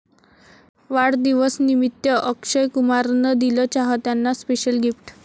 वाढदिवसनिमित्त अक्षय कुमारन दिलं चाहत्यांना स्पेशल गिफ्ट